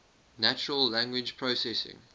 natural language processing